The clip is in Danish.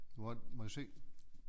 Hvor må jeg se